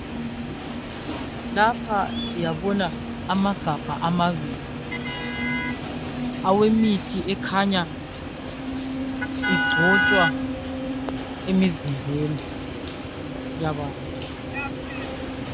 Lapha siyabona amagabha amabili, awemithi ekhanya igcotshwa emizimbeni yabantu.